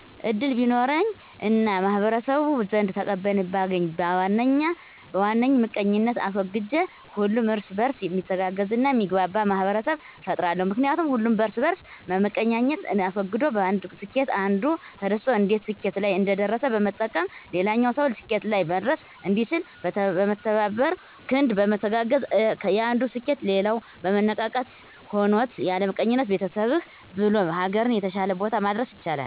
እድል ቢኖረኝ እና በማህበረሰቡ ዘንድ ተቀባይነትን ባገኝ በዋነኝ ምቀኝነትን አስወግጄ ሁሉም እርስ በእርስ ሚተጋገዝ እና የሚግባባ ማህበረሰብን እፈጥራለሁ። ምክንያቱም ሁሉም የእርስ በእርስ መመቀኛኘትን አስወግዶ በአንዱ ስኬት አንዱ ተደስቶ እንዴት ስኬት ላይ እንደደረሰ በመጠየቅ ሌላኛውም ሰው ስኬት ላይ መድረስ እንዲችል። በተባበረ ክንድ በመተጋገዝ የአንዱ ስኬት ሌላው መነቃቃትን ሆኖት ያለምቀኝነት ቤተሰብህ ብሎም ሀገርን የተሻለ ቦታ ማድረስ ይቻላል።